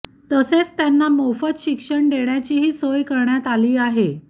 तसेच त्यांना मोफत शिक्षण देण्याचीही सोय करण्यात आली आहे